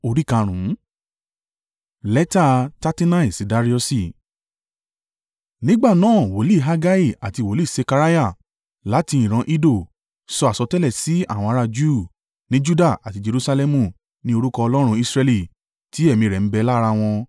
Nígbà náà wòlíì Hagai àti wòlíì Sekariah, láti ìran Iddo, sọ àsọtẹ́lẹ̀ sí àwọn ará Júù ní Juda àti Jerusalẹmu ní orúkọ Ọlọ́run Israẹli tí ẹ̀mí rẹ̀ ń bẹ lára wọn.